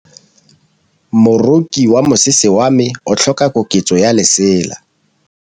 Moroki wa mosese wa me o tlhoka koketsô ya lesela.